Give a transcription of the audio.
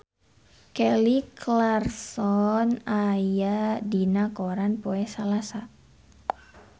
Kelly Clarkson aya dina koran poe Salasa